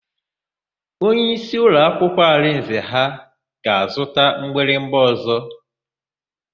Onyeisi ụlọakwụkwọ Arinze ha ga-azụta mgbịrịgba ọ̀zọ́.